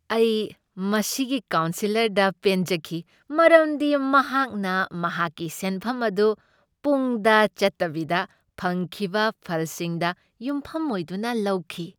ꯑꯩ ꯃꯁꯤꯒꯤ ꯀꯥꯎꯟꯁꯤꯂꯔꯗ ꯄꯦꯟꯖꯈꯤ ꯃꯔꯝꯗꯤ ꯃꯍꯥꯛꯅ ꯃꯍꯥꯛꯀꯤ ꯁꯦꯟꯐꯝ ꯑꯗꯨ ꯄꯨꯡꯗ ꯆꯠꯇꯕꯤꯗ ꯐꯪꯈꯤꯕ ꯐꯜꯁꯤꯡꯗ ꯌꯨꯝꯐꯝ ꯑꯣꯏꯗꯨꯅ ꯂꯧꯈꯤ ꯫